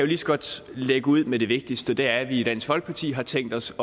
lige så godt lægge ud med det vigtigste og det er at vi i dansk folkeparti har tænkt os